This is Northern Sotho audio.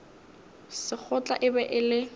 sekgotla e be e le